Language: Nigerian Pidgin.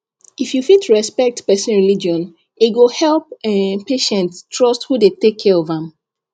if you fit respect person religion e go help um patient trust who dey take care of am